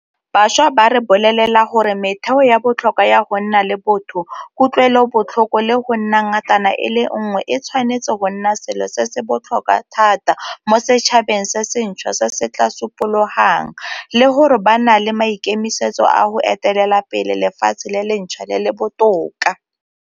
Bašwa ba re bolelela gore metheo ya botlhokwa ya go nna le botho, kutlwelobotlhoko le go nna ngatana e le nngwe e tshwanetse go nna selo se se botlhokwa thata mo setšhabeng se sentšhwa se se tla supologang, le gore ba na le maikemisetso a go etelela pele lefatshe le lentšhwa le le botoka.